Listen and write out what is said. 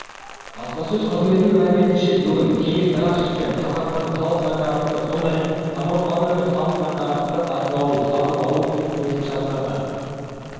баспасөз қызметінің мәліметінше бүгін кеңес рақышев пен қазақстанның халық банкі арасында сондай-ақ самұрық-қазына мен халық банкі арасында сату-сатып алу келісімшарттарына